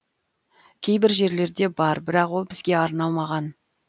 кейбір жерлерде бар бірақ ол бізге арналмаған